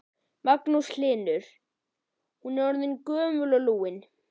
Magnús Hlynur: Hún er orðin gömul og lúin?